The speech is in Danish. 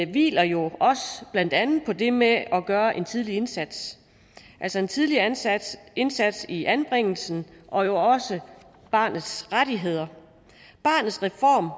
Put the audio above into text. hviler jo blandt andet også på det med at gøre en tidlig indsats altså en tidlig indsats indsats i anbringelsen og jo også barnets rettigheder barnets reform